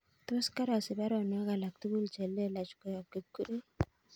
Tos karasich baruonok alak tugul chelelach koyob Kipkirui